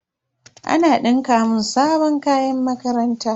Ana dinka mun sabon kayan makaranta.